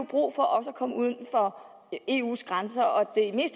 brug for også at komme uden for eus grænser og det